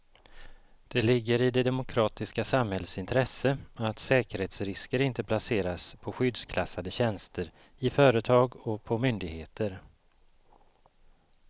Det ligger i det demokratiska samhällets intresse att säkerhetsrisker inte placeras på skyddsklassade tjänster i företag och på myndigheter.